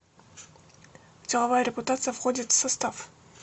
деловая репутация входит в состав